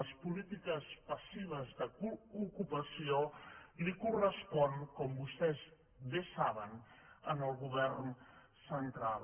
les polítiques passives d’ocupació li corresponen com vostès bé saben al govern central